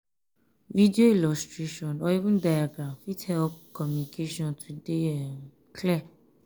video illustration or even diagram fit help communication to dey um clear